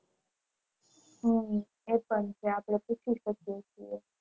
હમ એ પણ છે આપણે પૂછવું પડે